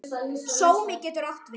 Sómi getur átt við